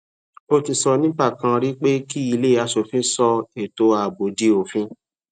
o ti sọ ní ìgbà kan rí pé kí ilé aṣòfin sọ ètò ààbò di òfin